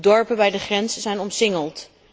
De dorpen bij de grenzen zijn omsingeld.